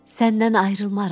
Səndən ayrılmaram.